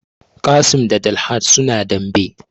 Qassim da Dalhat suna dambe